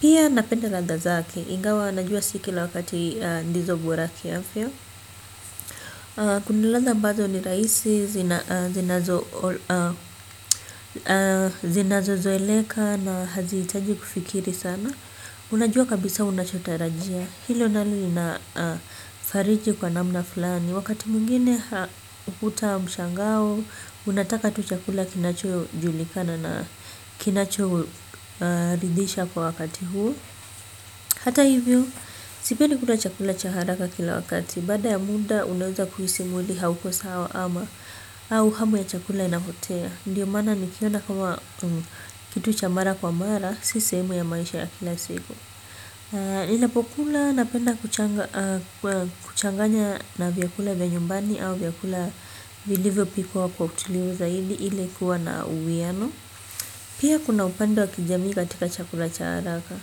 Pia napenda randa zake ingawa najua si kila wakati ndizo bora kiafya. Kuna ladha ambazo ni rahisi zinazo zinazozoeleka na haziitaji kufikiri sana. Unajua kabisa unachotarajia. Hilo nalo linafariji kwa namna fulani. Wakati mwingine hukuta mshangao. Unataka tu chakula kinachojulikana na kinachoridisha kwa wakati huu. Hata hivyo, sipendi kula chakula cha haraka kila wakati. Baada ya muda, unaweza kuhisi mwili hauko sawa ama au hamu ya chakula inapotea. Ndiyo maana nikiona kama kitu cha mara kwa mara si sehemu ya maisha ya kila siku ninapokula napenda kuchanganya na vyakula vya nyumbani au vyakula vilivyopikwa kwa hoteli zaidi ili kuwa na uwiano. Pia kuna upendo ya kijamii katika chakula cha haraka.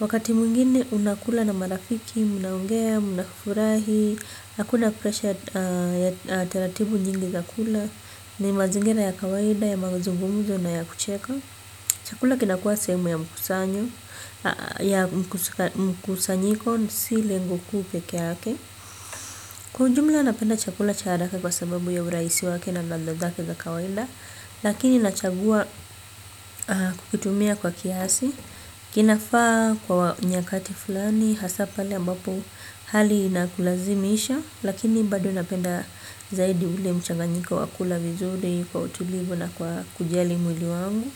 Wakati mwingine unakula na marafiki. Mnaongea, mnafurahi. Hakuna pressure ya taratibu nyingi ya kula. Ni mazingira ya kawaida ya mazungumzo na ya kucheka. Chakula kinakuwa sehemu ya mkusanyiko si lengo kuu peke yake kiujumla napenda chakula cha haraka kwa sababu ya urahisi wake na ladha zake za kawaida lakini nachagua kukitumia kwa kiasi kinafaa kwa nyakati fulani hasa pale ambapo hali inakulazimisha lakini bado napenda zaidi ule mchanganyiko wa kula vizuri kwa utulivu na kwa kujali mwili wangu. Kwa hivyo.